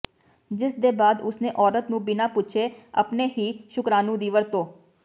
ਜਿਸਦੇ ਬਾਅਦ ਉਸਨੇ ਔਰਤ ਨੂੰ ਬਿਨਾਂ ਪੁੱਛੇ ਆਪਣੇ ਹੀ ਸ਼ੁਕਰਾਣੂ ਦੀ ਵਰਤੋਂ